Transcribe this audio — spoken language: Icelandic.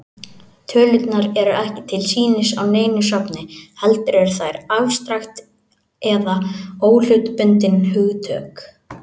Tölurnar eru ekki til sýnis á neinu safni, heldur eru þær afstrakt eða óhlutbundin hugtök.